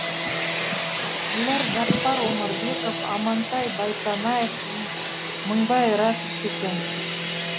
бұлар жаппар өмірбеков амантай байтанаев мыңбай рәшев екен